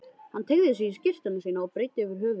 Hann teygði sig í skyrtuna sína og breiddi yfir höfuð.